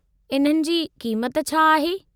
इन्हनि जी क़ीमति छा आहे?